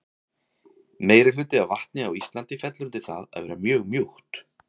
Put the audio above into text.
meirihluti af vatni á íslandi fellur undir það að vera mjög mjúkt